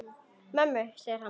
Mömmu, segir hann.